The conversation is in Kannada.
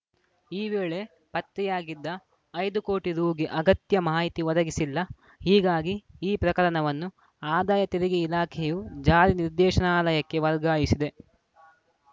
ಈ ವೇಳೆ ಪತ್ತೆಯಾಗಿದ್ದ ಐದು ಕೋಟಿ ರುಗೆ ಅಗತ್ಯ ಮಾಹಿತಿ ಒದಗಿಸಿಲ್ಲ ಹೀಗಾಗಿ ಈ ಪ್ರಕರಣವನ್ನು ಆದಾಯ ತೆರಿಗೆ ಇಲಾಖೆಯು ಜಾರಿ ನಿರ್ದೇಶನಾಲಯಕ್ಕೆ ವರ್ಗಾಯಿಸಿದೆ